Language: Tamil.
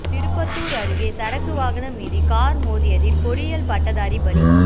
திருப்பத்தூா் அருகே சரக்கு வாகனம் மீது காா் மோதியதில் பொறியியல் பட்டதாரி பலி